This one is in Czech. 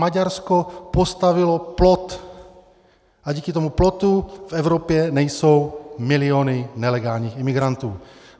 Maďarsko postavilo plot a díky tomu plotu v Evropě nejsou miliony nelegálních imigrantů.